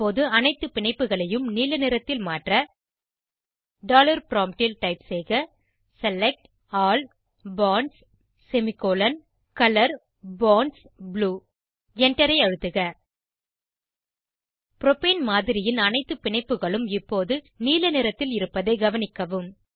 இப்போது அனைத்து பிணைப்புகளையும் நீல நிறத்தில மாற்ற டாலர் ப்ராம்ப்ட் ல் டைப் செய்க select all bonds semicolon colour bonds blue Enter ஐ அழுத்துக ப்ரோப்பேன் மாதிரியின் அனைத்து பிணைப்புகளும் இப்போது நீல நிறத்தில் இருப்பதை கவனிக்கவும்